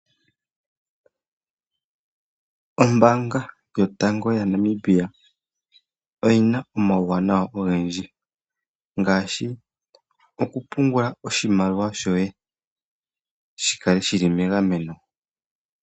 Ombaanga yotango yaNamibia oyina omauwanawa ogendji ngaashi okupungula oshimaliwa shoye shikale shili megameno.